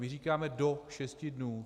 My říkáme do šesti dnů.